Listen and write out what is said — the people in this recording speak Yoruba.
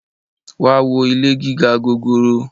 wá wo ilé gíga gòòrò!